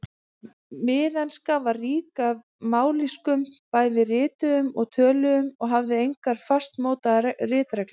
Miðenska var rík af mállýskum, bæði rituðum og töluðum, og hafði engar fastmótaðar ritreglur.